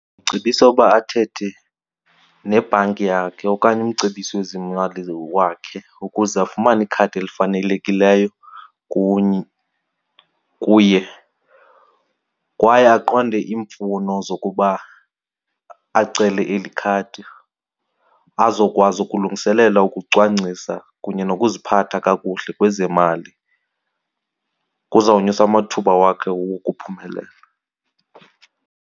Ndicebisa ukuba athethe nebhanki yakhe okanye umcebisi wezemali wakhe ukuze afumane ikhadi elifanelekileyo kuni kuye, kwaye aqonde iimfuno zokuba acele eli khadi azokwazi ukulungiselela ukucwangcisa kunye nokuziphatha kakuhle kwezemali. Kuzawunyusa amathuba wakhe wokuphumela.